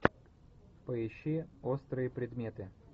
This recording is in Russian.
поищи острые предметы